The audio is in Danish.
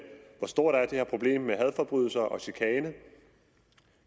hvor stort det her problem med hadforbrydelser og chikane